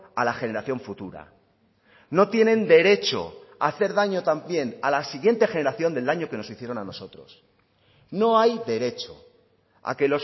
a la generación futura no tienen derecho a hacer daño también a la siguiente generación del daño que nos hicieron a nosotros no hay derecho a que